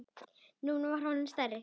Nú var hann orðinn stærri.